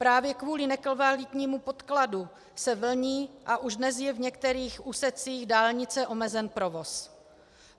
Právě kvůli nekvalitnímu podkladu se vlní a už dnes je v některých úsecích dálnice omezen provoz.